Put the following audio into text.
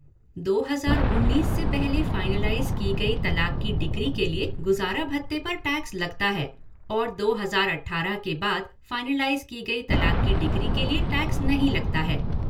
दो हजार उन्नीस से पहले फाइनलाइज़ की गई तलाक की डिक्री के लिए गुजारा भत्ते पर टैक्स लगता है और दो हजार अठारह के बाद फाइनलाइज़ की गई तलाक की डिक्री के लिए टैक्स नहीं लगता है।।